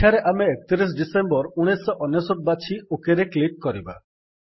ଏଠାରେ ଆମେ 31 ଡିଇସି 1999 ବାଛି ଓକ୍ ରେ କ୍ଲିକ୍ କରିବା